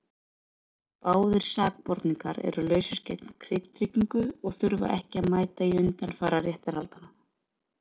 Báðir sakborningar eru lausir gegn tryggingu og þurfa ekki að mæta í undanfara réttarhaldanna.